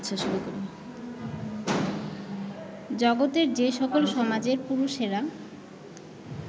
জগতের যে সকল সমাজের পুরুষেরা